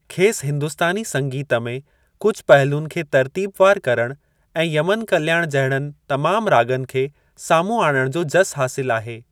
खेसि हिंदुस्तानी संगीत में कुझु पहलुअनि खे तर्तीबवारु करणु ऐं यमन कल्याण जहिड़नि तमामु राॻनि खे साम्हूं आणणु जो जसु हासिलु आहे।